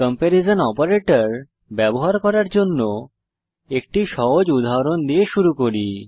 comparison operator ব্যবহার করার জন্য একটি সহজ উদাহরণ দিয়ে শুরু করি